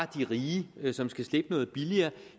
de rige som skal slippe noget billigere